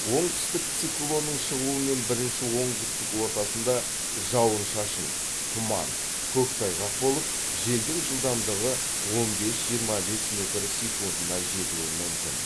оңтүстік циклонның шығуымен бірінші онкүндіктің ортасында жауын шашын тұман көктайғақ болып желдің жылдамдығы он бес жиырма бес метр секундына жетуі мүмкін